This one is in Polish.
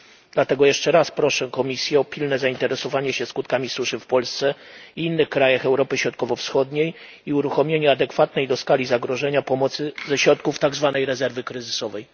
Dlatego jeszcze raz proszę Komisję o pilne zainteresowanie się skutkami suszy w Polsce i innych krajach Europy Środkowo Wschodniej oraz uruchomienie pomocy adekwatnej do skali zagrożenia, ze środków tak zwanej rezerwy kryzysowej.